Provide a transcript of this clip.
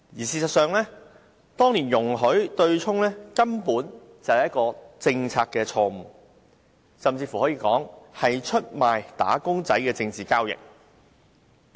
事實上，當年制訂這對沖機制，根本是政策錯誤，甚至可以說是出賣"打工仔"的政治交易。